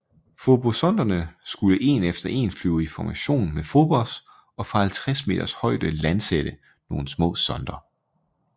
Fobossonderne skulle en efter en flyve i formation med Phobos og fra 50 meters højde landsætte nogle små sonder